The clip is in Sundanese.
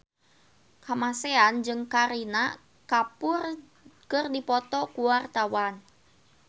Kamasean jeung Kareena Kapoor keur dipoto ku wartawan